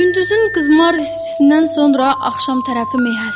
Gündüzün qızmar istisindən sonra axşam tərəfi meh əsdi.